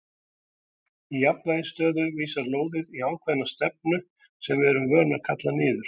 Í jafnvægisstöðu vísar lóðið í ákveðna stefnu sem við erum vön að kalla niður.